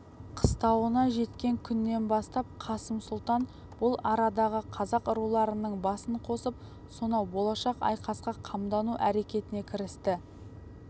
қыстауына жеткен күннен бастап қасым сұлтан бұл арадағы қазақ руларының басын қосып сонау болашақ айқасқа қамдану әрекетіне кірісті